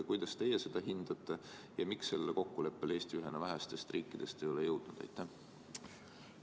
Kuidas teie seda hindate ja miks Eesti ühena vähestest riikidest sellele kokkuleppele ei ole jõudnud?